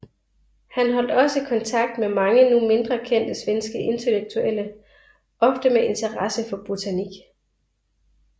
Han holdt også kontakt med mange nu mindre kendte svenske intellektuelle ofte med interesse for botanik